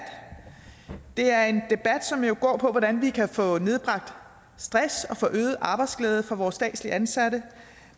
det er en debat som jo går på hvordan vi kan få nedbragt stress og få øget arbejdsglæde for vores statsligt ansatte